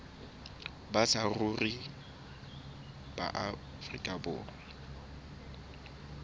ba saruri ba afrika borwa